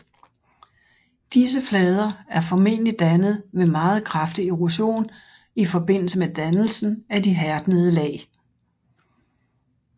Disse flader er formentlig dannet ved meget kraftig erosion i forbindelse med dannelsen af de hærdnede lag